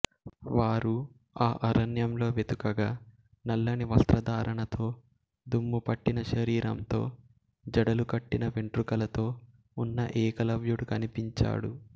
వారు ఆ అరణ్యంలో వెతుకగా నల్లని వస్త్రధారణతో దుమ్ముపట్టిన శరీరంతో జడలు కట్టిన వెంట్రుకలతో ఉన్న ఏకలవ్యుడు కనిపించాడు